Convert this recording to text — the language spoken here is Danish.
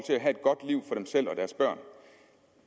dem selv og deres børn